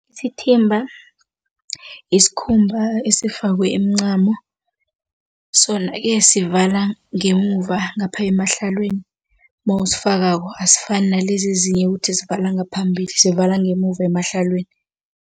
Isithimba yisikhumba esifakwe imincamo, sona ke sivala ngemuva ngapha emahlelweni mawusifakako, asifani nalezi ezinye ukuthi zivala ngaphambili sivala ngemuva emahlelweni.